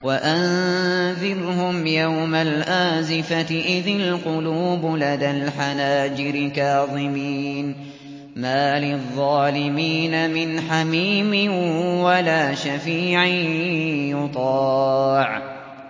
وَأَنذِرْهُمْ يَوْمَ الْآزِفَةِ إِذِ الْقُلُوبُ لَدَى الْحَنَاجِرِ كَاظِمِينَ ۚ مَا لِلظَّالِمِينَ مِنْ حَمِيمٍ وَلَا شَفِيعٍ يُطَاعُ